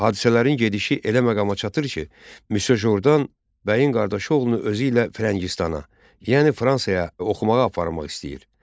Hadisələrin gedişi elə məqama çatır ki, Müsyo Jordan bəyin qardaşı oğlunu özü ilə Firəngistana, yəni Fransaya oxumağa aparmaq istəyir.